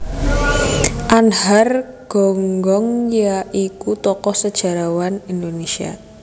Anhar Gonggong ya iku tokoh sejarawan Indonésia